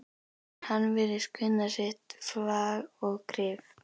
En hann virðist kunna sitt fag og kryf